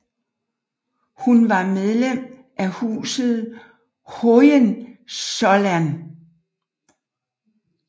Hun var medlem af huset Hohenzollern